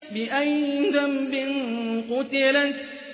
بِأَيِّ ذَنبٍ قُتِلَتْ